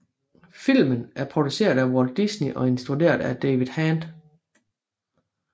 Filmen er produceret af Walt Disney og instrueret af David Hand